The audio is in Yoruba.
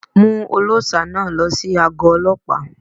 Mú ọlọ́ṣà náà lọ sí àgó Ọlọ́pàá.